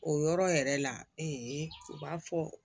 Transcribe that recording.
O yɔrɔ yɛrɛ la u b'a fɔ